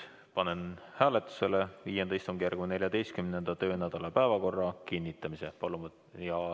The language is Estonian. Panen hääletusele V istungjärgu 14. töönädala päevakorra kinnitamise.